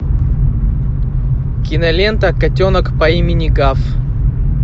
кинолента котенок по имени гав